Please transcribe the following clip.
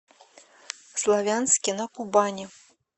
славянске на кубани